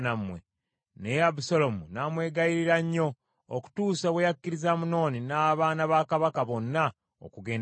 Naye Abusaalomu n’amwegayirira nnyo okutuusa bwe yakkiriza Amunoni n’abaana ba kabaka bonna okugenda naye.